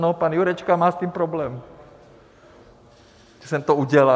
No, pan Jurečka má s tím problém, že jsem to udělal.